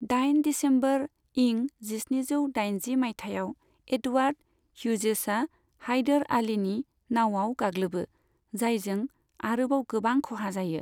दाइन दिसेम्बर इं जिस्निजौ दाइनजि माइथाइयाव, एडवार्ड ह्युजेसआ हायदर आलीनि नाउआव गाग्लोबो, जायजों आरोबाव गोबां खहा जायो।